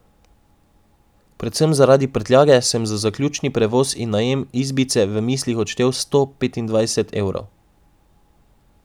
Predvsem zaradi prtljage, sem za zaključni prevoz in najem izbice v mislih odštel sto petindvajset evrov.